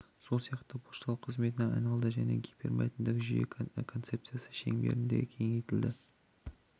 сол сияқты пошталық қызметіне айналды және гипермәтінді жүйе концепциясы шеңберінде кеңейтілді